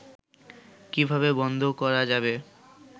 কিভাবে বন্ধ করা যাবে